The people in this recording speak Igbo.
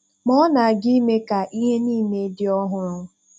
Ma ọ na-aga ime ka ihe niile dị ọhụrụ.